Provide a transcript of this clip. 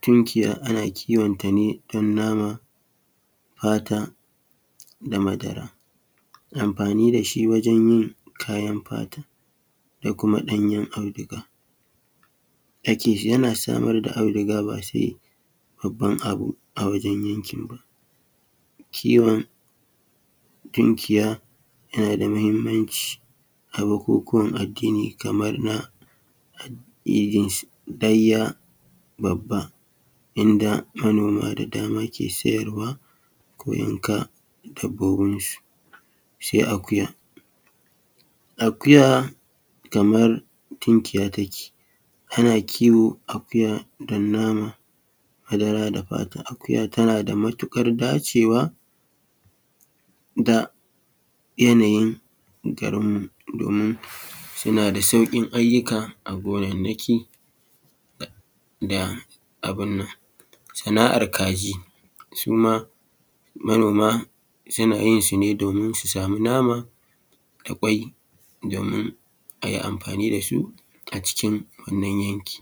tumkiya ana kiwonta ne don nama fata da madara. Amfani da shi wajen yin kayan fata da kuma ɗanyen auduga, yana samar da auduga ba sai babban abu a wajen yankin ba. Kiwon tumkiya yana da mahimmanci a bukukuwan addini kamar a addinin laiya babbaninda manoma da dama ke sayarwa ko yanka abunsu. Sai akuya, akuya kamar tumkiya take ana kiwon akuya don nama madara da fata. Akuya tana da matuƙar dacewa da yanayin garin mu domin suna da sauƙin ayyuka a gonannaki da abun nan. Sana'ar kaji su ma suna yinsu ne domin su sami nama da kwai domin a yi amfani da su a cikin wannan yanki.